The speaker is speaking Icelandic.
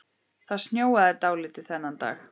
Það snjóaði dálítið þennan dag.